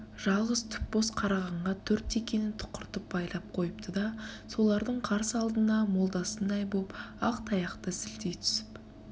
жалғыз түп боз қарағанға төрт текені түқыртып байлап қойыпты да солардың қарсы алдына молдасындай боп ақтаяқты сілтей түсіп